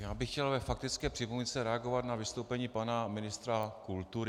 Já bych chtěl ve faktické připomínce reagovat na vystoupení pana ministra kultury.